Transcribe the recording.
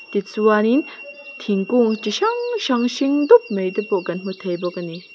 ti chuanin thingkûng chi hrang hrang hring dup maite pawh kan hmu thei bawk a ni.